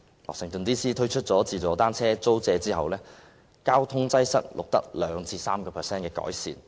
華盛頓 DC 推出"自助單車租借"服務後，交通擠塞的情況錄得 2% 至 3% 的改善。